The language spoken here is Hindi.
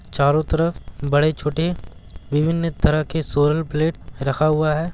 चारो तरफ बड़े-छोटे विभिन्न तरह के सोलर प्लेट रखा हुआ हैं।